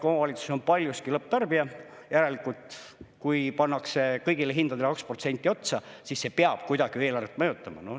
Kohalik omavalitsus on paljuski lõpptarbija, järelikult, kui pannakse kõigile hindadele 2% otsa, siis see peab kuidagi eelarvet mõjutama.